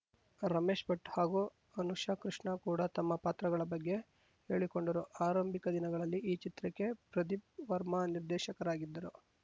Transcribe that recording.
ರಮೇಶ್‌ ಭಟ್‌ ಹಾಗೂ ಅನುಷಾ ಕೃಷ್ಣ ಕೂಡ ತಮ್ಮ ಪಾತ್ರಗಳ ಬಗ್ಗೆ ಹೇಳಿಕೊಂಡರು ಆರಂಭಿಕ ದಿನಗಳಲ್ಲಿ ಈ ಚಿತ್ರಕ್ಕೆ ಪ್ರದೀಪ್‌ ವರ್ಮ ನಿರ್ದೇಶಕರಾಗಿದ್ದರು